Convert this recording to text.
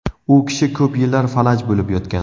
U kishi ko‘p yillar falaj bo‘lib yotgan.